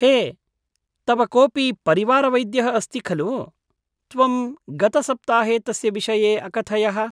हे, तव कोऽपि परिवारवैद्यः अस्ति खलु? त्वं गतसप्ताहे तस्य विषये अकथयः।